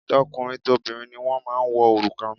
Tọkùnrin tobìnrin ni wọ́n máa ń wọ òrùka